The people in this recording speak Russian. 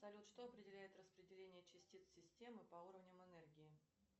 салют что определяет распределение частиц системы по уровням энергии